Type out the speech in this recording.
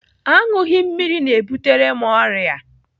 Aṅụghị mmiri na-ebutere m ọrịa.